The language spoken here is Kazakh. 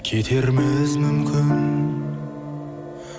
кетерміз мүмкін